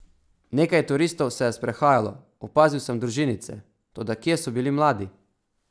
Nekaj turistov se je sprehajalo, opazil sem družinice, toda kje so bili mladi?